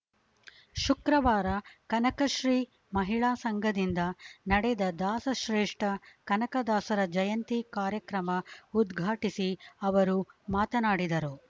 ಶುಕ್ರವಾರ ಕನಕಶ್ರೀ ಮಹಿಳಾ ಸಂಘದಿಂದ ನಡೆದ ದಾಸಶ್ರೇಷ್ಠ ಕನಕದಾಸರ ಜಯಂತಿ ಕಾರ್ಯಕ್ರಮ ಉದ್ಘಾಟಿಸಿ ಅವರು ಮಾತನಾಡಿದರು